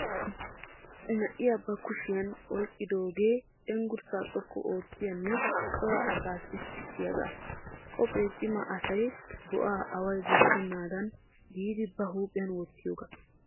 Na"iya ba kushiyan oyikkidooge cenggurssaa xoqqu oottiyanne cora asaa sissiyaagaa. Qophee cima asay bo'aa away bochchennaadan giidi ba huuphiyan wottiyogaa.